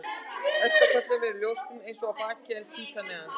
Efst á kollinum er hún ljósbrún eins og á baki en hvít að neðan.